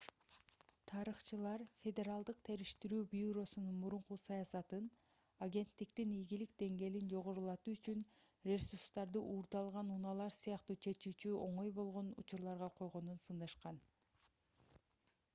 тарыхчылар федералдык териштирүү бюросунун мурунку саясатын агенттиктин ийгилик деңгээлин жогорулатуу үчүн ресурстарды уурдалган унаалар сыяктуу чечүүгө оңой болгон учурларга койгонун сындашкан